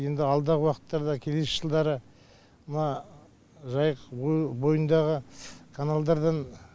енді алдағы уақыттарда келесі жылдары мына жайық ойыл бойындағы каналдардан